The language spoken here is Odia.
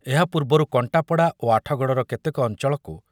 ଏହା ପୂର୍ବରୁ କଣ୍ଟାପଡ଼ା ଓ ଆଠଗଡ଼ର କେତେକ ଅଞ୍ଚଳକୁ